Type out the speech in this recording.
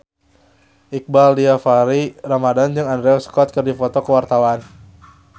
Iqbaal Dhiafakhri Ramadhan jeung Andrew Scott keur dipoto ku wartawan